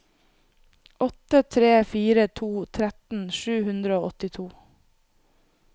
åtte tre fire to tretten sju hundre og åttito